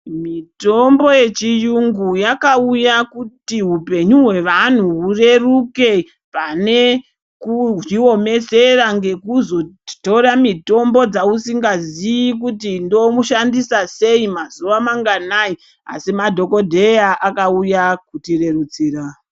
Mitombo yechiyungu yakauya kuti upenyu hwevanhu hureruke pane kuzviomesera ngekuzotora mitombo dzausingazii kuti ndomushandisa sei , mazuwa manganai, asi madhokodheya akauya kuzotirerusira.